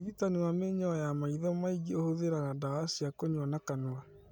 ũrigitani wa mĩnyoo ya maitho maingĩ ũhũthĩraga ndawa cia kũnyua na kanua